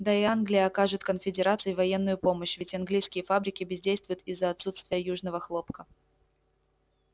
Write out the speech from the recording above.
да и англия окажет конфедерации военную помощь ведь английские фабрики бездействуют из-за отсутствия южного хлопка